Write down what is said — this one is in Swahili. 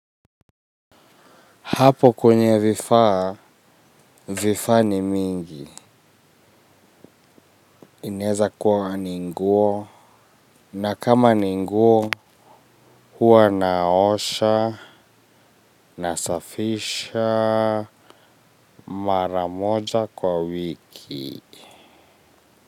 Hapo kwenye vifaa, vifaa ni mingi. Inaweza kuwa ni nguo na kama ni nguo huwa naosha na safisha maramoja kwa wiki.